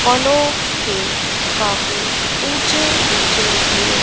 फलो के काफी उंचे उंचे ढेर--